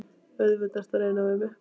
Auðvitað ertu að reyna við mig!